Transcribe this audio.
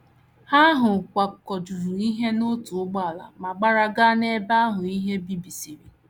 Ha ahụ kwakọjuru ihe n’otu ụgbọala ma gbara gaa n’ebe ahụ ihe bibisịrị.